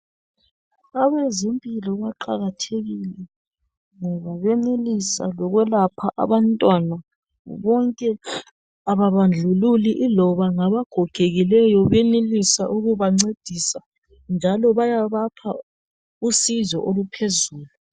Abezempilo baqakathekile ngoba benelisa lokwelapha abantwana bonke ababandlululi iloba ngabagogekileyo benelisa ukubancedisa njalo bayabapha usizo oluphezulu .